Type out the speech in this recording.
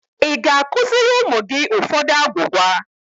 Ịga akụziri ụmụ gị ụfọdụ agwugwa?